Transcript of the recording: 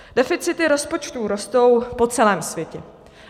Deficity rozpočtů rostou po celém světě.